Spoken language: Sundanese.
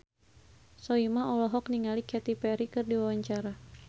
Soimah olohok ningali Katy Perry keur diwawancara